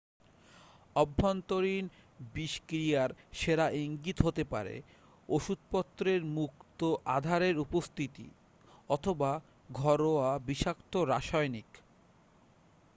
অভ্যন্তরীণ বিষক্রিয়ার সেরা ইঙ্গিত হতে পারে ওষুধপত্রের মুক্ত আধারের উপস্থিতি অথবা ঘরোয়া বিষাক্ত রাসায়নিক